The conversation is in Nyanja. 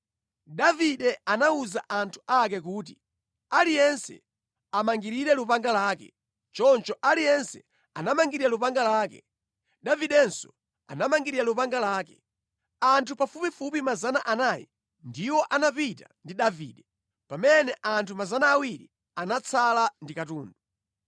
Davide anawuza anthu ake kuti, “Aliyense amangirire lupanga lake!” Choncho aliyense anamangirira lupanga lake. Davidenso anamangirira lupanga lake. Anthu pafupifupi 400 ndiwo anapita ndi Davide, pamene anthu 200 anatsala ndi katundu.